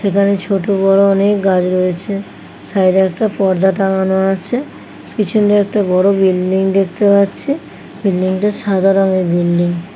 সেখানে ছোট বড় অনেক গাজ রয়েছে। সাইডে একটা পর্দা টাঙ্গানো আছে। পিছন দিয়ে একটা বড় বিল্ডিং দেখতে পাচ্ছি । বিল্ডিং - টা সাদা রঙের বিল্ডিং ।